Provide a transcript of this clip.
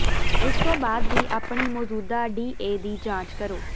ਇਸ ਤੋਂ ਬਾਅਦ ਵੀ ਆਪਣੇ ਮੌਜੂਦਾ ਡੀਏ ਦੀ ਜਾਂਚ ਕਰੋ